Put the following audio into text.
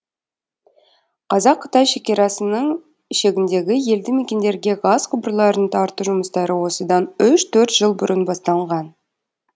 қазақ қытай шекерасының шегіндегі елді мекендерге газ құбырларын тарту жұмыстары осыдан үш төрт жыл бұрын басталынған